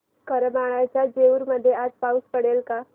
करमाळ्याच्या जेऊर मध्ये आज पाऊस पडेल का